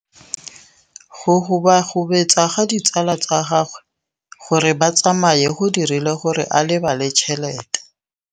Go gobagobetsa ga ditsala tsa gagwe, gore ba tsamaye go dirile gore a lebale tšhelete.